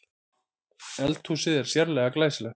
Eldhúsið er sérlega glæsilegt